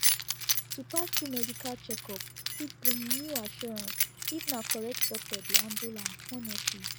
to pass through medical checkup fit bring new assurance if na correct doctor dey handle am honestly